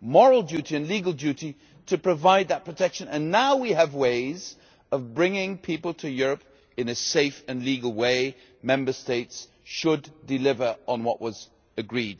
moral duty and legal duty to provide that protection, and now that we have ways of bringing people to Europe in a safe and legal way, Member States should deliver on what was agreed.